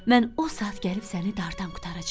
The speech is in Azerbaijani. Mən o saat gəlib səni dardan qurtaracam.